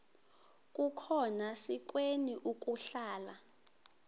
akukhona sikweni ukuhlala